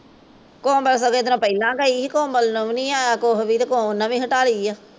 ਕੋਮਲ ਤਾਂ ਸਗੋਂ ਇਹਦੇ ਨਾਲੋਂ ਪਹਿਲਾ ਗਈ ਸੀ ਕੋਮਲ ਨੂ ਵੀ ਨੀ ਆਇਆ ਕੁਸ਼ ਵੀ ਤੇ ਓਹਨੇ ਵੀ ਹਟਾ ਲਈ ਆ